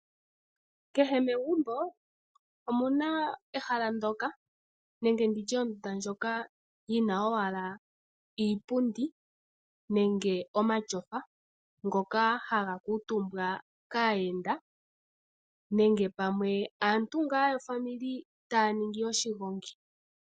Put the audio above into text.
Kehe megumbo omuna ehala ndoka nenge nditye ondunda ndjoka yina owala iipundi nenge omatyofa ngoka haga kuutumbwa kaayenda nenge pamwe aantu ngaa yofamili taya ningi oshigongi.